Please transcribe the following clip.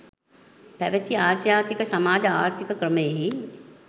පැවති ආසියාතික සමාජ ආර්ථීක ක්‍රමයෙහි